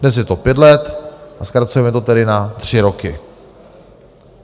Dnes je to pět let a zkracujeme to tedy na tři roky.